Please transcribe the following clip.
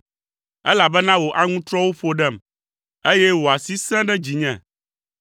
elabena wò aŋutrɔwo ƒo ɖem, eye wò asi sẽ ɖe dzinye.